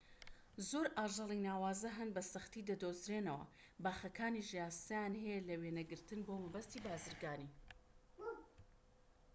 زۆر ئاژەڵی ناوازە هەن بە سەختی دەدۆزرێنەوە باخەکانیش یاسایان هەیە لە وێنەگرتن بۆ مەبەستی بازرگانی